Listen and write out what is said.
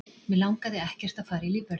Mig langaði ekkert að fara í lífvörðinn.